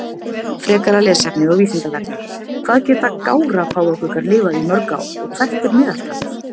Frekara lesefni á Vísindavefnum: Hvað geta gára-páfagaukar lifað í mörg ár og hvert er meðaltalið?